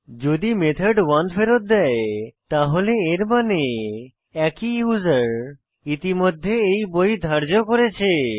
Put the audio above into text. যদি মেথড 1 ফেরৎ দেয় তাহলে এর মানে একই ইউসার ইতিমধ্যে এই বই ধার্য করেছে